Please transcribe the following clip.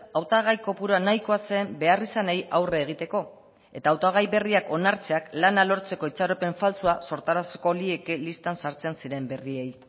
hautagai kopurua nahikoa zen beharrizanei aurre egiteko eta hautagai berriak onartzeak lana lortzeko itxaropen faltsua sortaraziko lieke listan sartzen ziren berriei